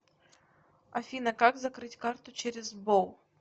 афина как закрыть карту через сбол